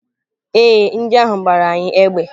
Ee, ndị ahụ gbara anyị égbè.